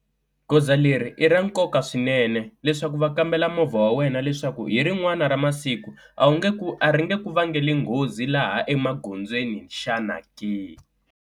Goza leri i ra nkoka swinene leswaku va kambela movha wa wena leswaku hi rin'wana ra masiku a wu nge ku a ri nge ku vangela nghozi laha emagondzweni xana ke.